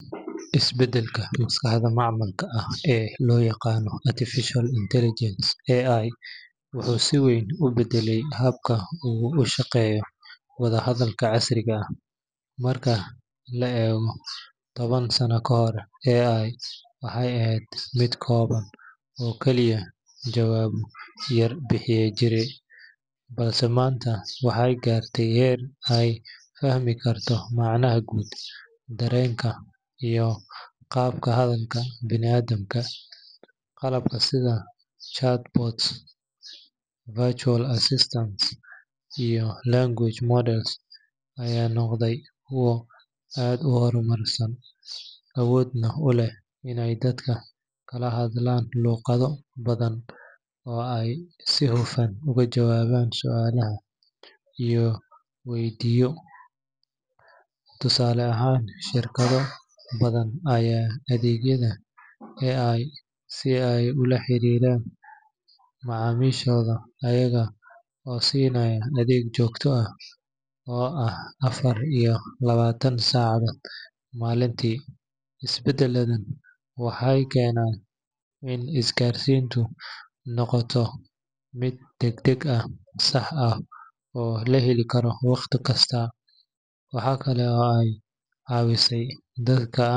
Isbedelka maskaxda macmalka ah ee loo yaqaan Artificial Intelligence (AI) wuxuu si weyn u bedelay habka uu u shaqeeyo wadahadalka casriga ah. Marka la eego toban sano kahor, AI waxay ahayd mid kooban oo kaliya jawaabo yar bixin jirtay, balse maanta waxay gaartay heer ay fahmi karto macnaha guud, dareenka, iyo qaabka hadalka bini’aadamka. Qalabka sida chatbots, virtual assistants iyo language models ayaa noqday kuwo aad u horumarsan, awoodna u leh inay dadka kala hadlaan luqado badan oo ay si hufan uga jawaabaan su’aalaha la weydiiyo. Tusaale ahaan, shirkado badan ayaa adeegsanaya AI si ay ula xiriiraan macaamiishooda iyaga oo siinaya adeeg joogto ah oo ah afar iyo labaatan saacadood maalintii. Isbedeladan waxay keeneen in isgaarsiintu noqoto mid degdeg ah, sax ah, oo la heli karo wakhti kasta. Waxa kale oo ay caawisay dadka.